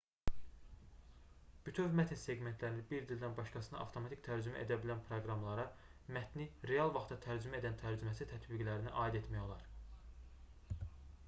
bütöv mətn seqmentlərini bir dildən başqasına avtomatik tərcümə edə bilən proqramlara mətni real vaxtda tərcümə edən tərcüməçi tətbiqlərini aid etmək olar